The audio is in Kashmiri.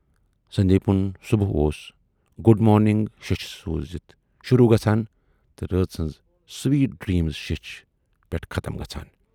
سندیٖپُن صُبح اوس گوڈ مارنِٛگ شیچھ سوٗزِتھ شوروٗ گژھان تہٕ رٲژ ہٕنزِ سویٹ ڈیدمِز شیچھِ پٮ۪ٹھ ختم گژھان